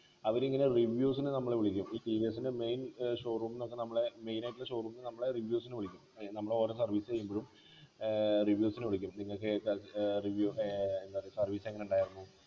അവരിങ്ങനെ reviews നു നമ്മളെ വിളിക്കും ഈ ടി വി എസ്ൻ്റെ main ഏർ showroom ന്നൊക്കെ നമ്മളെ main ആയിട്ടുള്ള showroom ന്നു നമ്മളെ review നു വിളിക്കും ഏർ നമ്മള് ഓരോ service ചെയ്യുമ്പോഴും ഏർ reviews നു വിളിക്കും നിങ്ങക്ക് ഏർ review ഏർ എന്താ പറയാ service എങ്ങനേണ്ടാർന്നു